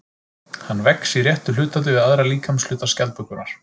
Hann vex í réttu hlutfalli við aðra líkamshluta skjaldbökunnar.